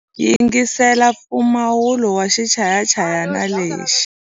Yingisela mpfumawulo wa xichayachayani lexi.